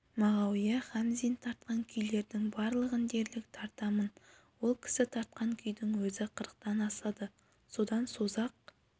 мағауия хамзин тартқан күйлердің барлығын дерлік тартамын ол кісі тартқан күйдің өзі қырықтан асады содан созақ